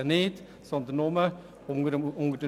man findet sie nur unter «Biel».